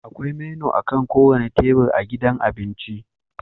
Akwai menu akan kowane tebur a gidan abinci